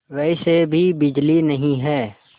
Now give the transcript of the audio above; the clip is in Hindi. वैसे भी बिजली नहीं है